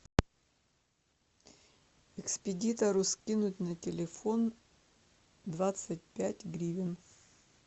экспедитору скинуть на телефон двадцать пять гривен